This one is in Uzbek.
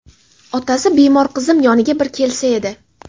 Otasi bemor qizim yoniga bir kelsa edi.